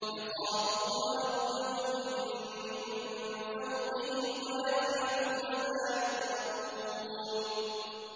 يَخَافُونَ رَبَّهُم مِّن فَوْقِهِمْ وَيَفْعَلُونَ مَا يُؤْمَرُونَ ۩